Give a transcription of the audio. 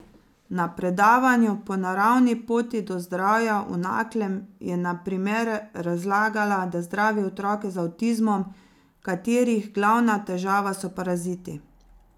Na predavanju Po naravni poti do zdravja v Naklem je na primer razlagala, da zdravi otroke z avtizmom, katerih glavna težava so paraziti.